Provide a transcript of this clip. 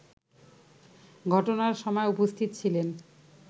ঘটনার সময় উপস্থিত ছিলেন